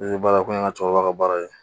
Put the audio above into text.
I be baara ko ɲɛ ŋa cɛkɔrɔba ka baara ye